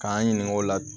K'an ɲininka o la